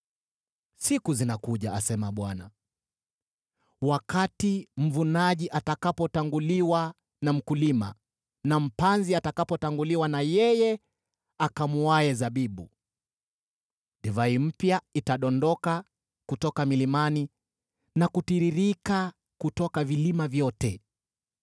“Siku zinakuja,” asema Bwana , “wakati mvunaji atatanguliwa na mkulima, naye mpanzi atatanguliwa na yeye akamuaye zabibu. Divai mpya itadondoka kutoka milimani, na kutiririka kutoka vilima vyote.